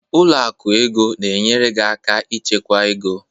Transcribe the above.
Ụlọ akụ ego na-enyere gị aka ịchekwa ego.